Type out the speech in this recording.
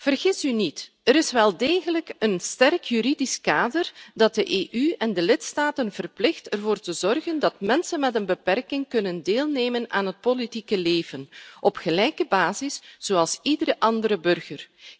Vergis u niet, er is wel degelijk een sterk juridisch kader dat de EU en de lidstaten verplicht ervoor te zorgen dat mensen met een beperking kunnen deelnemen aan het politieke leven op gelijke basis zoals iedere andere burger.